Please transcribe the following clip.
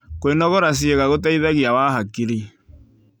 Kwĩnogora cĩĩega gũteĩthagĩa wa hakĩrĩ